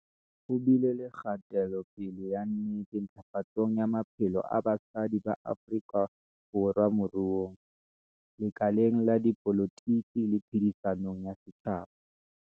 Ho bile le kgatelopele ya nnete ntlafatsong ya maphelo a basadi ba Afrika Borwa moruong, lekaleng la dipolotiki le phedi-sanong ya setjhaba.